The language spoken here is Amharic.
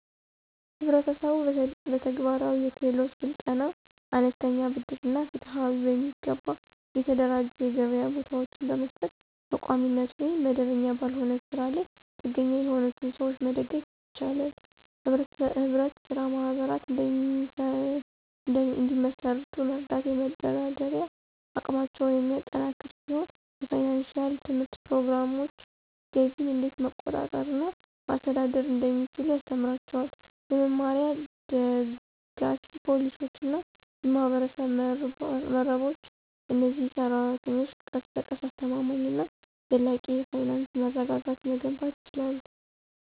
ህብረተሰቡ በተግባራዊ የክህሎት ስልጠና፣ አነስተኛ ብድር እና ፍትሃዊ፣ በሚገባ የተደራጁ የገበያ ቦታዎችን በመስጠት በቋሚነት ወይም መደበኛ ባልሆነ ስራ ላይ ጥገኛ የሆኑትን ሰዎች መደገፍ ይችላል። ህብረት ስራ ማህበራት እንዲመሰርቱ መርዳት የመደራደሪያ አቅማቸውን የሚያጠናክር ሲሆን የፋይናንሺያል ትምህርት ፕሮግራሞች ገቢን እንዴት መቆጠብ እና ማስተዳደር እንደሚችሉ ያስተምራቸዋል። በመመሪያ፣ ደጋፊ ፖሊሲዎች እና የማህበረሰብ መረቦች፣ እነዚህ ሰራተኞች ቀስ በቀስ አስተማማኝ እና ዘላቂ የፋይናንስ መረጋጋትን መገንባት ይችላሉ።